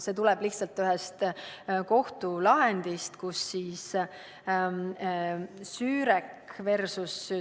See tuleb lihtsalt ühest kohtulahendist, Sürek vs.